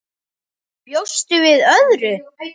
Bjóstu við öðru?